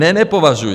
- Ne, nepovažuji.